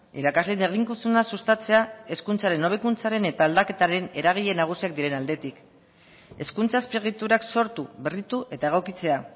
irakasleen eginkizuna sustatzea hezkuntzaren hobekuntzaren eta aldaketaren eragile nagusiak diren aldetik hezkuntza azpiegiturak sortu berritu eta egokitzea